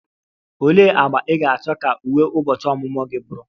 Olee agba ị ga-achọ ka uwe ụbọchị ọmụmụ gị bụrụ?